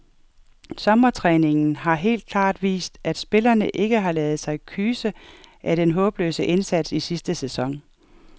Sommertræningen har helt klart vist, at spillerne ikke har ladet sig kyse af den håbløse indsats i sidste sæson.